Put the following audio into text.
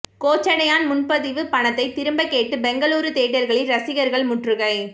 கோச்சடையான் முன்பதிவு பணத்தை திரும்ப கேட்டு பெங்களூரு தியேட்டர்களில் ரசிகர்கள் முற்றுகை